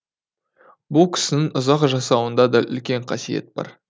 бұл кісінің ұзақ жасауында да үлкен қасиет бар